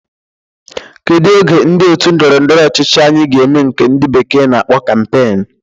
Kedu oge ndị otu ndọrọ ndọrọ ọchịchị anyi ga-eme nke ndi bekee na-akpọ kampeen?